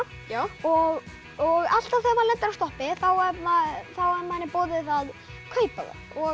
og og alltaf þegar maður lendir á stoppi þá er manni boðið að kaupa það